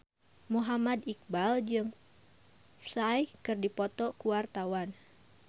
Muhammad Iqbal jeung Psy keur dipoto ku wartawan